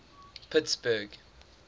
pittsburgh